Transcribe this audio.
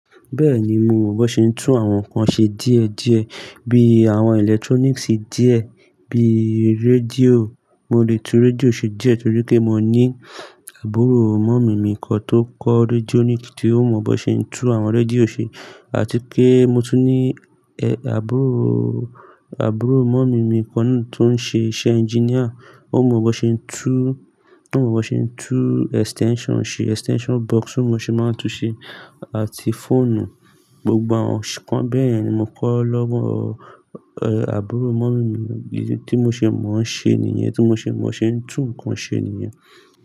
Bẹ́ẹ̀ni mo mọ̀ bon ṣe ń tún àwọn nǹkan ṣe díẹ̀ díẹ̀, bí àwọn electronics díẹ̀, bí rédíò. Mo lè tún rédíò ṣe díẹ̀ torí pé mo ní àbúrò mummy kan tó kọ́ radionic, tí ó mọ̀ bón ṣe ń tún àwọn rédíò ṣe àti pe mo tún ní àbúroò, àbúrò mummy kan náà tó ń ṣe iṣẹ́ Engineer. O mọ bó ṣe ń tú, ó mọ bó ṣe ń tú extension ṣe, extension box tí mo ṣe máa ń tún ṣe àti fóònù, gbogbo àwọn nǹkan bẹ́yen ni mo kọ́ lọ́wọ́ àbúrò mummy mi. Idi tí mo ṣe mo ń ṣe nìyen, tí mo ṣe mo ń tan se tu nǹkan ṣe nìyen.